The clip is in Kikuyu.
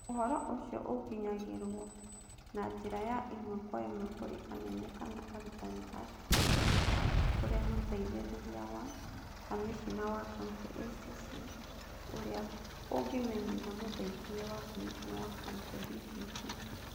Ũhoro ũcio ũkinyagĩrwo na njĩra ya ĩmwe kwa ĩmwe kũrĩ anene kana arutani a cukuru kana kũrĩ Mũteithĩrĩria wa Kamishna wa Kaunti (ACC) ũrĩa ũngĩmenyithia Mũteithĩrĩria wa Kamishna wa Kaunti (DCC).